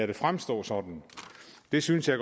det fremstå sådan det synes jeg